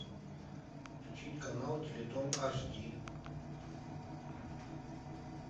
включить канал теледом аш ди